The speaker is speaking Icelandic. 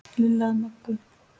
Lilla að Möggu.